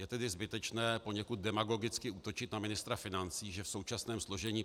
Je tedy zbytečné poněkud demagogicky útočit na ministra financí, že v současném složení